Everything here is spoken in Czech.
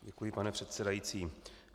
Děkuji, pane předsedající.